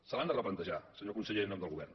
se l’han de replantejar senyor conseller en nom del govern